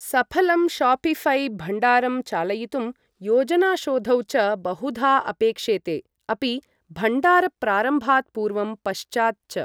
सफलं शोपिऴै भण्डारं चालयितुं योजनाशोधौ च बहुधा अपेक्षेते, अपि भण्डारप्रारम्भात् पूर्वं पश्चात् च।